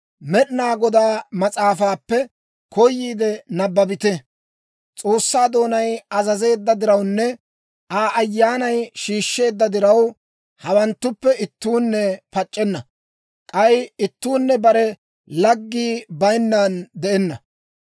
Med'inaa Godaa mas'aafaappe koyiide nabbabite. S'oossaa doonay azazeedda dirawunne Aa ayyaanay shiishsheedda diraw, hawanttuppe ittuunne pac'c'enna; k'ay ittuunne bare laggii bayinnan de'enna.